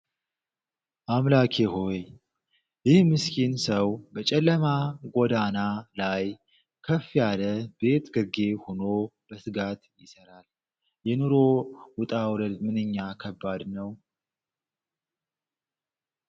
አምላኬ ሆይ! ይህ ምስኪን ሰው በጨለማ ጎዳና ላይ ከፍ ያለ ቤት ግርጌ ሆኖ በትጋት ይሰራል! የኑሮ ውጣ ውረድ ምንኛ ከባድ ነው!